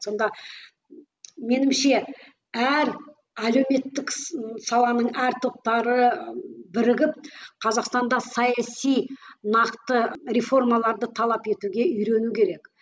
сонда меніңше әр әлеуметтік саланың әр топтары бірігіп қазақстанда саяси нақты реформаларды талап етуге үйрену керек